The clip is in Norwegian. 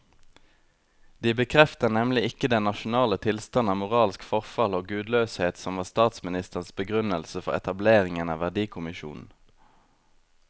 De bekrefter nemlig ikke den nasjonale tilstand av moralsk forfall og gudløshet som var statsministerens begrunnelse for etableringen av verdikommisjonen.